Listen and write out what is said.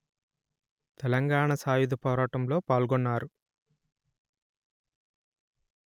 తెలంగాణ సాయుధ పోరాటంలో పాల్గొన్నారు